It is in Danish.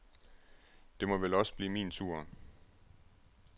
Det må vel også blive min tur.